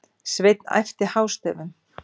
Svenni æpti hástöfum.